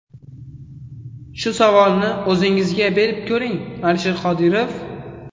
Shu savolni o‘zingizga berib ko‘ring, Alisher Qodirov.